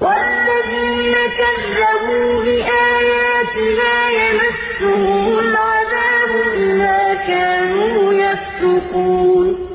وَالَّذِينَ كَذَّبُوا بِآيَاتِنَا يَمَسُّهُمُ الْعَذَابُ بِمَا كَانُوا يَفْسُقُونَ